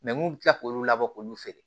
mun bɛ tila k'olu labɔ k'olu feere